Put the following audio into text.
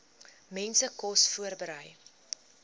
mense kos voorberei